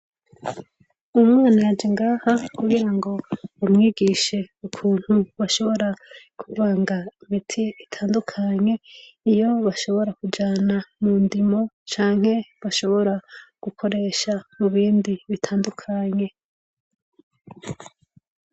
Umwana yaje ngaha kugira ngo umwigishe ukuntu bashobora kuvanga ibiti bitandukanye, iyo bashobora kuja mu ndimiro canke bashobora gukoresha mubindi bitandukanye.